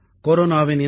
கொரோனாவின் இந்த